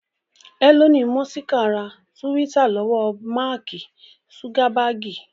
Ẹlọni mọ́sìkì ra túwítà lọ́wọ́ Máàkì zugabaagi